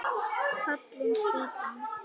Fallin spýtan!